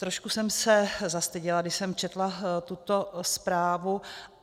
Trošku jsem se zastyděla, když jsem četla tuto zprávu.